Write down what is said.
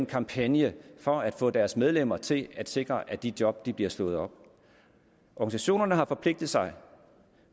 kampagnen for at få deres medlemmer til at sikre at de job bliver slået op organisationerne har forpligtet sig